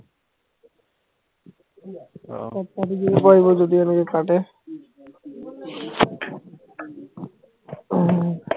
আহ কৰপৰা দিব পাৰিব যদি আৰু এই ফাটে আহ